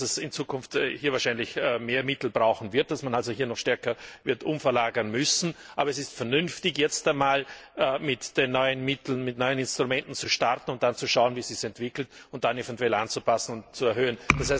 Ich nehme an, dass man in Zukunft wahrscheinlich mehr Mittel brauchen wird, dass man also hier noch stärker wird umverlagern müssen. Aber es ist vernünftig, jetzt einmal mit den neuen Mitteln, mit neuen Instrumenten zu starten und dann zu schauen, wie es sich entwickelt, und dann eventuell anzupassen und zu erhöhen.